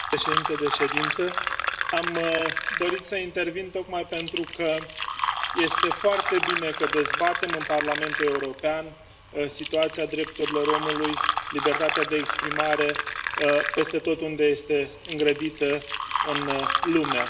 Domnule președintele de ședință, am dorit să intervin tocmai pentru că este foarte bine că dezbatem în Parlamentul European situația drepturilor omului, libertatea de exprimare peste tot unde este îngrădită în lume.